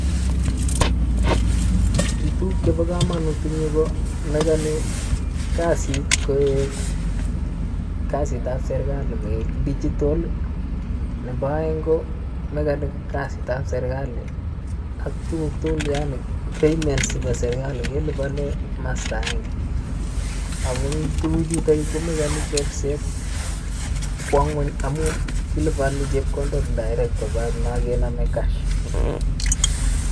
Kituguk chebo kamanut eng nyuu komekani kasiitab serikali koek digital, nebo aeng komekani kasiit nebo serikali ak tuguuk tugul yaani payments chebo serikali kelipane masta aenge ako amun tuguk chuto komekani chorset kwo ngwony amun kilipani chepkondok direct koba makenamei cash.